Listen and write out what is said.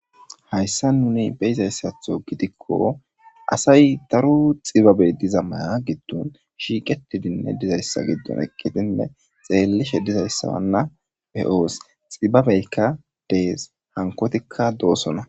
hayssa nuni beyizayssatho gidikko asay daru xibabe diza maya giddon shiiqetidinne dizayssa giddon ekkitinne xeellishe dizayssawanna pe7oos xibabeykka dees hankotikka doosona